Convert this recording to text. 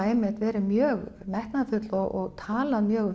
einmitt verið mjög metnaðarfull og talað mjög